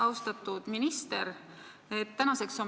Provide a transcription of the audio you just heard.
Austatud minister!